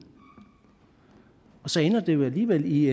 og så ender det jo alligevel i